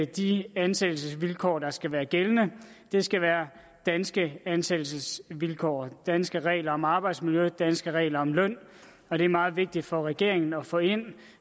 de ansættelsesvilkår der skal være gældende skal være danske ansættelsesvilkår danske regler om arbejdsmiljø danske regler om løn og det er meget vigtigt for regeringen at få ind